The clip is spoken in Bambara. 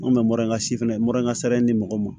An kun bɛ mura si fɛnɛ mura in ka sara di mɔgɔw ma